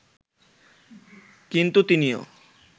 কিন্তু তিনিও